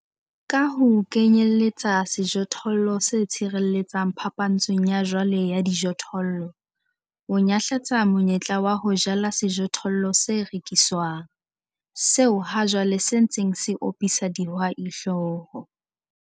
Ka ho kenyeletsa sejothollo se tshireletsang phapantshong ya jwale ya dijothollo, o nyahlatsa monyetla wa ho jala sejothollo se rekiswang, seo hajwale se ntseng se opisa dihwai hlooho.